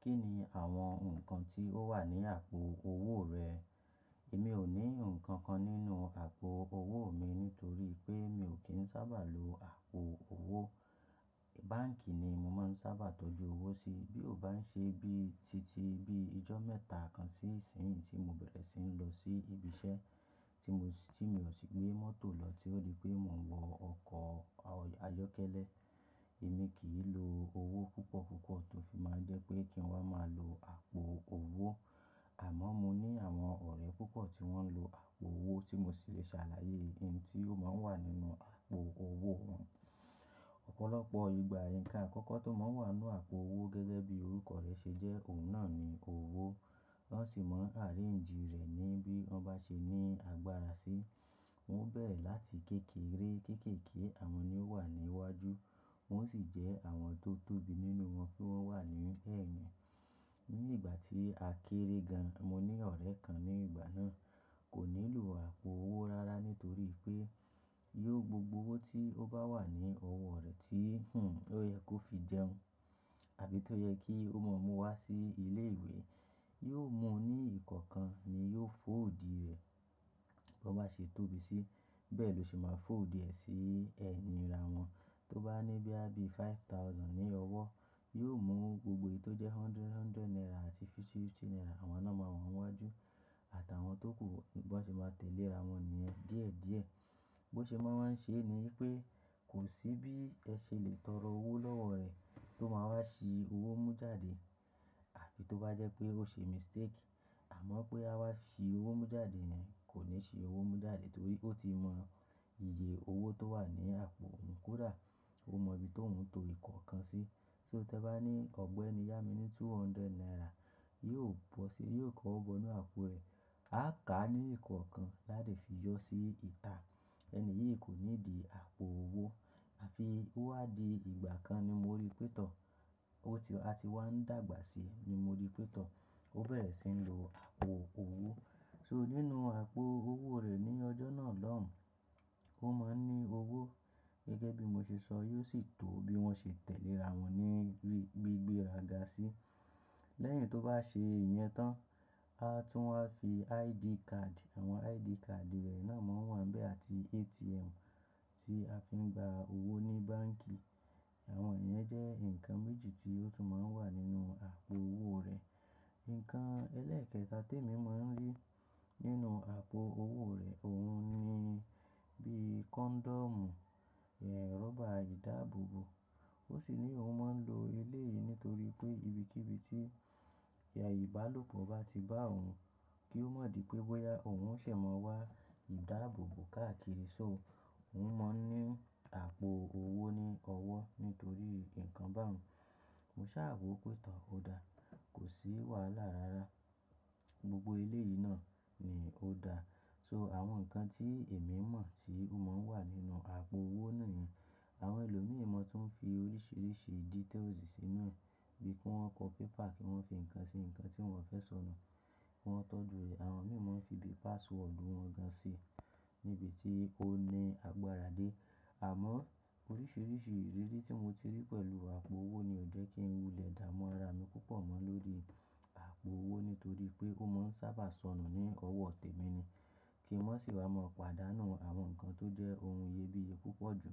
Kí ni àwọn nǹkan tí ó wà ní àpò owó rẹ? Èmi ò ní nǹkan kan nínú àpò owó mi nítorí pé mi ò kí ń sábà lo àpò owó. Báǹkì ni mo máa ń sábà tọ́jú owó sí. Bí ó bá ń ṣe bí titi bí ijọ́ mẹ́ta kan sí ìsinyìí tí mo bẹ̀rẹ̀ sí ń lọ sí ibi iṣẹ́ tí mo sì tí mi ò sì gbé mọ́tò lọ tí ó le pé mo ń wọ ọkọ̀ ayọ́kẹ́lẹ́. Èmi kì í lo owó púpọ̀ púpọ̀ tó fi máa ń jẹ́ pé kí n wá máa lo àpò owó. Àmọ́ mo ní àwọn ọ̀rẹ́ púpọ̀ tí wọ́n ń lo àpò owó tí mo sì le ṣàlàyé ohun tí ó máa ń wà nínú àpò owó wọn. Ọ̀pọ̀lọpọ̀ ìgbà, ǹkan àkọ́kọ́ tó máa ń wà nínú àpò owó gẹ́gẹ́ bí orúkọ rẹ̀ ṣe jẹ́ òun náà ni owó. Wọ́n sì máa arrange rẹ̀ ni bí wọ́n bá ṣe ní agbára sí. Wọ́n ó bẹ̀rẹ̀ láti kékeré. Kékèké àwọn ni ó wà ní iwájú, wọ́n sì jẹ́ àwọn tó tóbi nínú wọn pé wọ́n wà ní ẹ̀yìn. Ní ìgbà tí a kéré gan, mo ní ọ̀rẹ́ kan ní ìgbà náà kò nílò àpò owó rárá nítorí pé yóò gbogbo owó tí ó bá wà ní ọwọ́ rẹ̀ tí ó yẹ kó fi jẹun àbí tó yẹ kí ó máa mú wá sí ilé ìwé, yóò mú ní ìkọ̀ọ̀kan ni yóò fold rẹ̀ bí o bá ṣe tóbi sí. Bẹ́ẹ̀ ló ṣe máa fold rẹ̀ sí ẹ̀yìn ra wọn. Tó bá ní bí i abi five thousand ní ọwọ́, yóò mú ohun gbogbo tó jẹ́ hundred naira àti fifty naira àwọn náà máa wà níwájú àtàwọn tó kù bó ṣe máa tẹ̀lé ra wọn ní yen díẹ̀ díẹ̀. Bí ó ṣe máa ń ṣe ni pé kò sí bí ẹ ṣe lè tọrọ owó lọ́wọ́ rẹ̀ tó máa wá ṣí owó mú jáde àbí tó bá jẹ́ pé ó ṣe mistake. Àmọ́ pé a wá ṣí owó mú jáde ni kò ní ṣe owó mú jáde torí ó ti mọ iye owó tó wà ní àpò òun kódà ó mọ ibi tó ń to ìkọ̀ọ̀kan sí. So tẹ́ bá ní ọ̀gbẹ́ni yá mi ní two hundred naira, yóò bọ́ sí yóò kọ́ ọgbọ̀n nínú àpò rẹ̀, á ká ní ìkọ̀ọ̀kan láti fi yọ sí ìtà. Ẹni yìí kò ní di àpò owó. Àfi ó wá di ìgbà kan ni mo rí pé tọ́, ó ti a ti wá ń dàgbà sí ni mo rí pé tọ́, ó bẹ̀rẹ̀ sí ń lo àpò owó. So nínú àpò owó rẹ̀ ní ọjọ́ náà lọ́hùn, ó máa ń ní owó gẹ́gẹ́ bí mo ṣe sọ yóò sì tó bí wọ́n ṣe tẹ̀lé ra wọn ní gbígbéra ga sí. Lẹ́yìn tó bá ṣe ìyẹn tán, a tún máa fi ID card, àwọn ID card rẹ̀ náà máa ń wà ńbẹ́ àti ATM tí a fi ń gba owó ní báǹkì. Àwọn ìyẹn jẹ́ nǹkan méjì tí ó tún máa ń wà nínú àpò owó rẹ̀. Ǹkan ẹlẹ́ẹ̀kẹta tí èmi máa ń rí nínú àpò owó rẹ̀ òun ni bí condom, rọ́bà ìdáàbòbò. Ó sì ní òun máa ń lo ilé yìí nítorí pé ibikíbi tí ẹ̀yà ìbálòpọ̀ bá ti bá òun kí ó mọ̀ dí pé bóyá òun ṣè máa wá ìdáàbòbò káàkiri. So òun mọ ní àpò owó ní ọwọ́ nítorí ǹkan bá òun. Mo sá à wò pé tọ̀ ó dá, kò sí wàhálà rárá. Gbogbo ilé yìí náà ni ó dá. So àwọn nǹkan tí èmi mọ̀ tí ó máa ń wà nínú àpò owó náà yìí. Àwọn ẹlòmíràn ma tún ń fi oríṣiríṣi details sí inú rẹ̀ bíi kí wọ́n kọ paper kí wọ́n fi ǹkan ṣe ǹkan tí wọ́n fẹ́ sọnù kí wọ́n tọ́jú rẹ̀. Àwọn mìíràn ń fi bí password wọn gan sì níbi tí ó ní agbára dé. Àmọ́ oríṣiríṣi ìrírí tí mo ti rí pẹ̀lú àpò owó ni ò jẹ́ kí ń wulẹ̀ dá mú ara mi púpọ̀ mọ́ lórí àpò owó nítorí pé ó máa ń sábà sọnù ní ọwọ́ tèmi ni. Kí n má sì wá máa pàdánù àwọn nǹkan tó jẹ́ ohun iyebíye púpọ̀ jù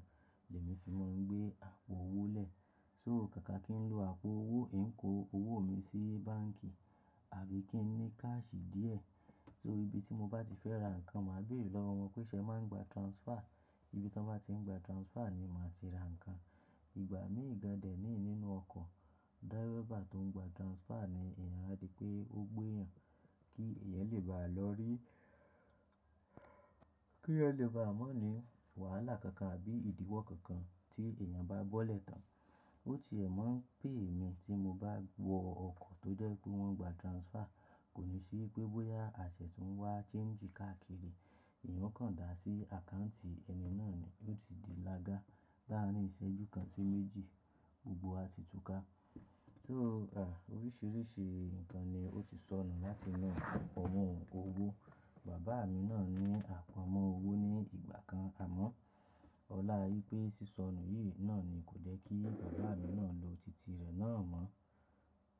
lèmi fi máa ń gbé àpò owó lẹ̀. So kàkà kí ń lo àpò owó, ń kó owó mi sí báǹkì àbí kí ń ní cash díẹ̀ torí ibi tí mo bá ti fẹ́ ra nǹkan màá béèrè lọ́wọ́ wọn pé ṣé ẹ máa ń gba transfer. Ibi tí wọ́n bá tí ń gba transfer ni màá ti ra nǹkan. Ìgbà mí gan dẹ̀ ní nínú ọkọ̀, driver tó ń gba transfer ni èèyàn, ári pé ó gbéyàn kí èèyàn lè bá lọ rí-- kí èèyàn lè bá mọ ní wàhálà kankan àbí ìdíwọ́ kankan tí èèyàn bá bọ́lẹ̀ tán. Ó ti ẹ̀ máa ń pè é mi tí mo bá wọ ọkọ̀ tó jẹ́ pé wọ́n ń gba transfer. Kò ní sí pé bóyá àṣẹ tó ń wá change káàkiri, èèyàn kàn dá sí àkáǹtì ẹni náà ni yóò ti di lága. Lá rin ìṣẹ́jú kan sí méjì gbogbo wa ti túká. So, à, oríṣiríṣi nǹkan ni ó ti sọnù láti inú ọmọ òun owó. Bàbá mi náà ní àpò ọmọ owó ní ìgbà kan àmọ́ ọlá rí pé sísọnù yìí náà ni kò jẹ́ kí bàbá mi náà lo tìtì rẹ̀ náà mọ́.